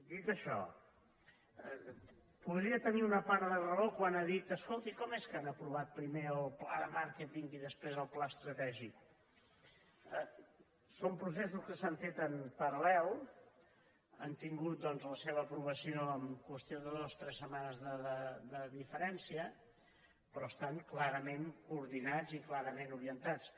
dit això podria tenir una part de raó quan ha dit es·colti com és que han aprovat primer el pla de màr·queting i després el pla estratègic són processos que s’han fet en paral·lel han tingut doncs la seva aprova·ció en qüestió de dues o tres setmanes de diferència però estan clarament coordinats i clarament orientats